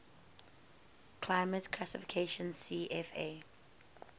climate classification cfa